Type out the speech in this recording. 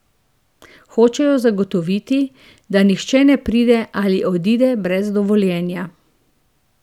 Hočejo zagotoviti, da nihče ne pride ali odide brez dovoljenja.